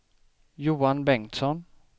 Johan Bengtsson